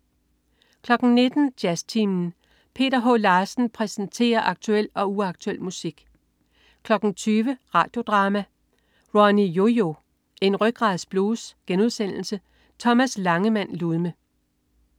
19.00 Jazztimen. Peter H. Larsen præsenterer aktuel og uaktuel musik 20.00 Radio Drama: Ronny-Yo-Yo. En rygradsblues.* Thomas Langemand Ludme